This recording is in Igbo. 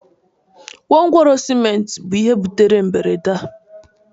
gwongworo ciment bu ihe butere ihe mberede a